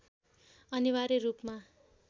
अनिवार्य रूपमा